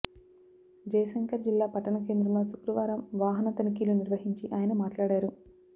జయశంకర్ జిల్లా పట్టణ కేంద్రంలో శుక్రవారం వాహన తనిఖీలు నిర్వహించి ఆయన మాట్లాడారు